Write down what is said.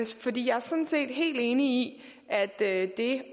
sådan set helt enig i at det